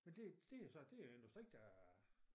Men det det jo så det jo industri der er